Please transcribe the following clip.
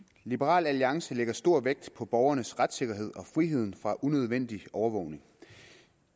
liberal alliance lægger stor vægt på borgernes retssikkerhed og friheden fra unødvendig overvågning